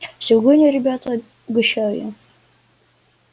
сегодня ребята угощаю